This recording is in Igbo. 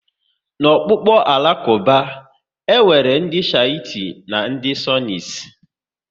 N'ọkpụkpụ Alakuba, e nwere ndị Shites na ndị Sunnis